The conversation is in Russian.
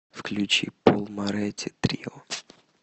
включи пол моретти трио